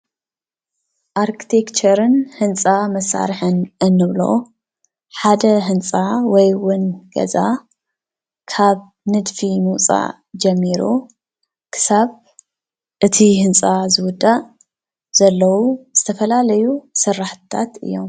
ኣርክቴክቸርን ህንፃ መሳርሕን እንብሎ ሓደ ህንፃ ወይውን ገዛ ካብ ንድፊ ምውፃእ ጀሚሩ ክሳብ እቲ ህንፃ ዝውዳእ ዘለው ዝተፈላለዩ ስራሕትታት እዮም።